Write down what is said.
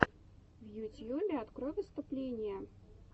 в ютьюбе открой выступления